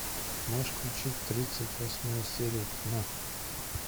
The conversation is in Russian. можешь включить тридцать восьмая серия тьма